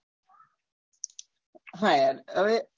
હા યાર હવે